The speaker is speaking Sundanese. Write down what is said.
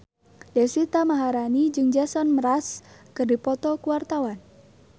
Deswita Maharani jeung Jason Mraz keur dipoto ku wartawan